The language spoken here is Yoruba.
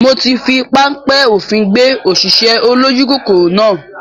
Mo ti fi panpẹ́ òfin gbé òṣìṣẹ́ olójú kòkòrò náà